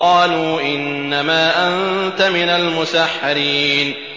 قَالُوا إِنَّمَا أَنتَ مِنَ الْمُسَحَّرِينَ